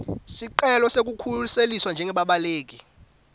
sicelo sekukhuseliswa njengebabaleki